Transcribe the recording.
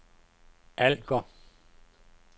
Alger